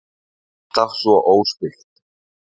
Alltaf svo óspillt.